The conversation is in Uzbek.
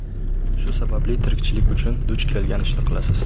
Shu sababli tirikchilik uchun duch kelgan ishni qilasiz.